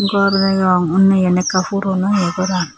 gor degong undi iyan ekka puron oye goran.